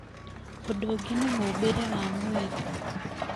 ũndũ ũngĩ nĩ mũũmbĩre wa mwĩrĩ